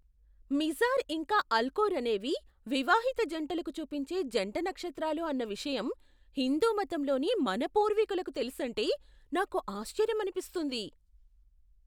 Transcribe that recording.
Mizar ఇంకా Alcor అనేవి వివాహిత జంటలకు చూపించే జంట నక్షత్రాలు అన్న విషయం హిందూ మతంలోని మన పూర్వీకులకు తెలుసంటే నాకు ఆశ్చర్యమనిపిస్తుంది.